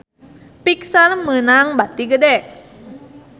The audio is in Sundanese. Pixar meunang bati gede